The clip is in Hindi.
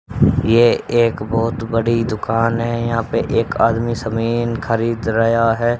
ये एक बहोत बड़ी दुकान है यहां पे। एक आदमी समीन खरीद रया है।